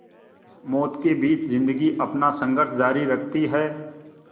मौत के बीच ज़िंदगी अपना संघर्ष जारी रखती है